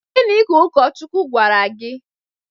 Gịnị ka Ụkọchukwu gwara gị?